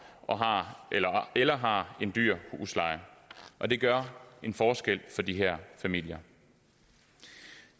eller har en dyr husleje og det gør en forskel for de her familier